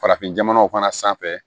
Farafin jamanaw fana sanfɛ